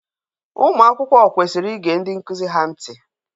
Ụmụ akwụkwọ kwesiri ige ndị nkụzi ha ntị.